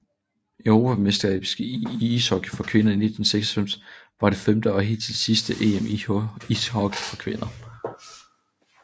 Europamesterskabet i ishockey for kvinder 1996 var det femte og hidtil sidste EM i ishockey for kvinder